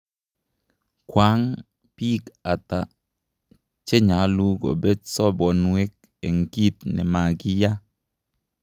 Kwang pik ataa chenyalu kopet sabondwek ,en kit nemakiya?